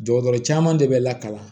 Dɔgɔtɔrɔ caman de bɛ lakalan